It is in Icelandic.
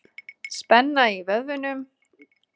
Spenna í vöðvunum.